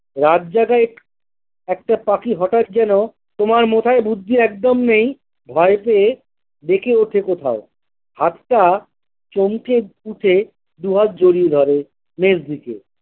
রাত জাগা একটি একটা পাখি হঠাৎ যেন তোমার মাথায় বুদ্ধি একদম নেয় ভই পেয়ে ডেকে ওঠে কোথাও হাতটা চমকে উঠে দুহাত জড়িয়ে ধরে মেজ দিকে।